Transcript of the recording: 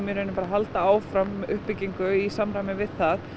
halda áfram uppbyggingu í samræmi við það